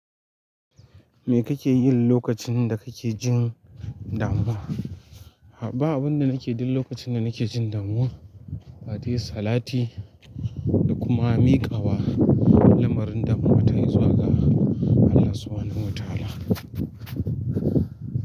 Me kake yi lokacin da kake jin damuwa? Ba abun da nake duk lokacin da nake jin damuwa, face salati da kuma miƙawa lamarin damuwa ta e zuwa ga Allah Subhanahu wa ta'ala.